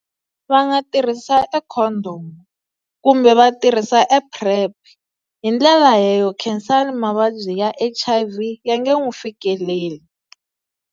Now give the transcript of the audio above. Va nga tirhisa e condom kumbe va tirhisa e PrEP hi ndlela leyo Khansani mavabyi ya H_I_V ya nge n'wi fikeleli.